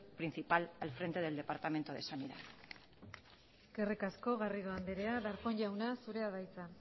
principal al frente del departamento de sanidad eskerrik asko garrido andrea darpón jauna zurea da hitza